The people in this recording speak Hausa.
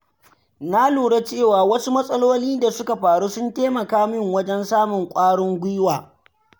Na lura cewa wasu matsaloli da suka faru sun taimaka min wajen samun ƙwarin gwiwa.